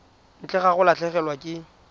ntle ga go latlhegelwa ke